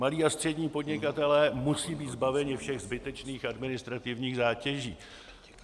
Malí a střední podnikatelé musí být zbaveni všech zbytečných administrativních zátěží.